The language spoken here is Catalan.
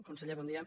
conseller bon dia